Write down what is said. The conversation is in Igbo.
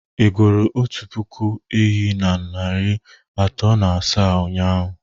Ị gụrụ otu puku ehi na narị atọ na asaa ụnyahụ?